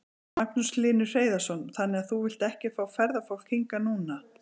Magnús Hlynur Hreiðarsson: Þannig að þú vilt ekki fá ferðafólk hingað núna?